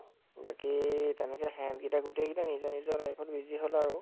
বাকী তেনেকে, সেহেঁত কেইটা গোটেই কেইটা নিজৰ নিজৰ life ত busy হʼল আৰু